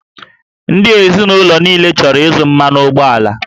Ndị ezinụlọ niile chọrọ ịzụ mmanụ ụgbọala